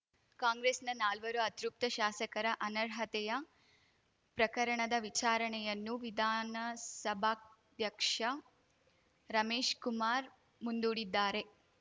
ಕಾಂಗ್ರೆಸ್‌ನ ನಾಲ್ವರು ಅತೃಪ್ತ ಶಾಸಕರ ಅನರ್ಹತೆಯ ಪ್ರಕರಣದ ವಿಚಾರಣೆಯನ್ನು ವಿಧಾನಸಭಾಧ್ಯಕ್ಷ ರಮೇಶ್‌ಕುಮಾರ್ ಮುಂದೂಡಿದ್ದಾರೆ